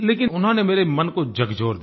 लेकिन उन्होंने मेरे मन को झकझोर दिया